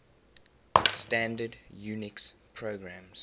standard unix programs